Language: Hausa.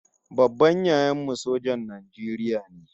Babban yayan mu sojan Najeriya ne